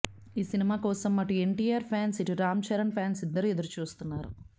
ఈ సినిమా కోసం అటు ఎన్టీఆర్ ఫాన్స్ ఇటు రామ్ చరణ్ ఫ్యాన్స్ ఇద్దరూ ఎదురుచూస్తున్నారు